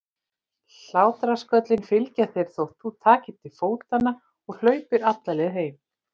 Hlátrasköllin fylgja þér þótt þú takir til fótanna og hlaupir alla leið heim.